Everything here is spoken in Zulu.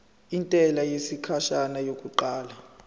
intela yesikhashana yokuqala